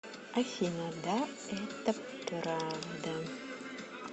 афина да это правда